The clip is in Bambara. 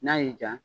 N'a y'i ja